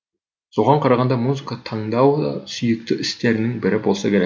соған қарағанда музыка тыңдау да сүйікті істерінің бірі болса керек